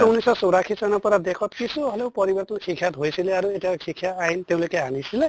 ঊনৈছ শ ছৌৰাশী চনৰ পৰা দেশত কিছু হʼলেও পৰিৱৰ্তন শিক্ষাত হৈছিলে আৰু এতিয়া শিক্ষা আইন তেওঁলোকে আনিছিলে